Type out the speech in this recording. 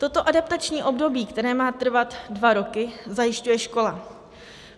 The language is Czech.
Toto adaptační období, které má trvat dva roky, zajišťuje škola.